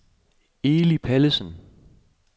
Eli Pallesen